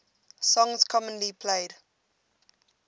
songs commonly played